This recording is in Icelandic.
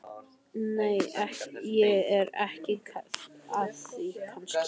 Nei, ég er ekki að því kannski.